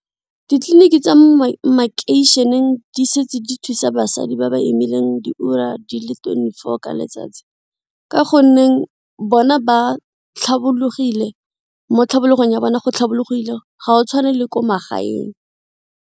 Ditleliniki tsa mo makeišeneng di setse di thusa basadi ba ba imileng diura di le twenty-four ka letsatsi ka gonne bona ba tlhabologile mo tlhabologong ya bona go tlhabologile ga o tshwane le ko magaeng.